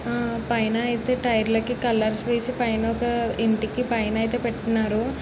పైన యితే టైర్ కి కలర్స్ వేసి పైన ఒక ఇంటికి పైనైతే పటుకునారు.